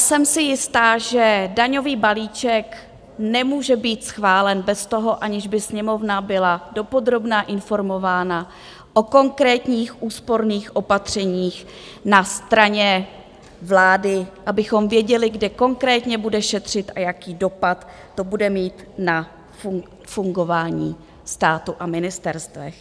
Jsem si jistá, že daňový balíček nemůže být schválen bez toho, aniž by Sněmovna byla dopodrobna informována o konkrétních úsporných opatřeních na straně vlády, abychom věděli, kde konkrétní bude šetřit a jaký dopad to bude mít na fungování státu a ministerstev.